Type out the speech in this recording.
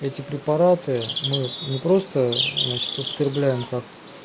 эти препараты мы не просто значит употребляем как